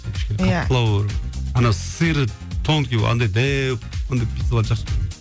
кішкене қаттылау болу керек ана сыры тонкий андай дәу ондай пиццаларды жақсы көрмеймін